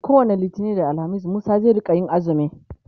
kowani littani da alhamis Musa zai rinka axumi